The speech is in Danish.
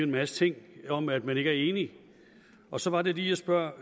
masse ting om at man ikke er enig og så er det lige jeg spørger